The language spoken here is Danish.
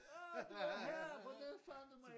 Ah du er her hvordan fandt du mig